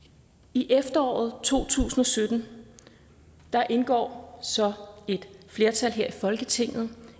i efteråret to tusind og sytten indgår et flertal her i folketinget